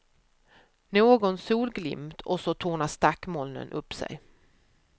Någon solglimt och så tornar stackmolnen upp sig.